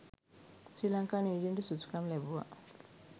ශ්‍රී ලංකාව නියෝජනයට සුදුසුකම් ලැබුවා